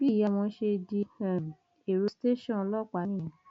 bí ìyá wọn ṣe di um èrò tẹsán ọlọpàá nìyẹn